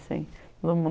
assim tudo muito